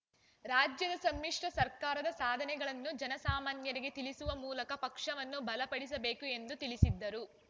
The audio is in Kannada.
ರಾಜ್ಯದ ಸಮ್ಮಿಶ್ರ ಸರ್ಕಾರದ ಸಾಧನೆಗಳನ್ನು ಜನಸಾಮಾನ್ಯರಿಗೆ ತಿಳಿಸುವ ಮೂಲಕ ಪಕ್ಷವನ್ನು ಬಲ ಪಡಿಸಬೇಕು ಎಂದು ತಿಳಿಸಿದರು